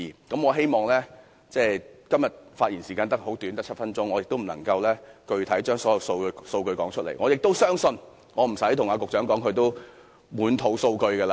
今天的發言時間很短，只有7分鐘，我無法詳列所有數據，但我相信即使我不說，局長也滿肚數據。